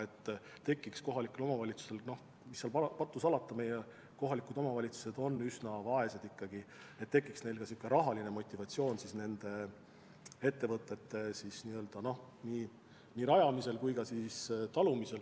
Siis tekiks kohalikel omavalitsustel – mis seal salata, meie kohalikud omavalitsused on ikka üsna vaesed – rahaline motivatsioon lubada uusi ettevõtteid rajada ja neid taluda.